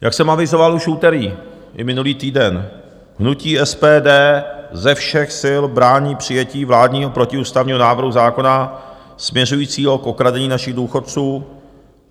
Jak jsem avizoval už v úterý i minulý týden, hnutí SPD ze všech sil brání přijetí vládního protiústavního návrhu zákona směřujícího k okradení našich důchodců.